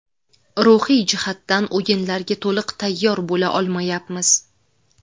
Ruhiy jihatdan o‘yinlarga to‘liq tayyor bo‘la olmayapmiz.